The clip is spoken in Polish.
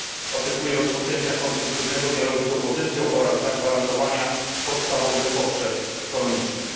Oczekuję rozpoczęcia konstruktywnego dialogu z opozycją oraz zagwarantowania podstawowych potrzeb ekonomicznych.